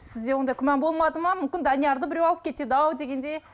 сізде ондай күмән болмады ма мүмкін даниярды біреу алып кетеді ау дегендей